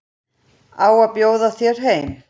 Að bjóða þér heim.